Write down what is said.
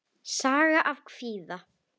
Saga af kvíða.